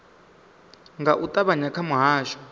nga u ṱavhanya kha muhasho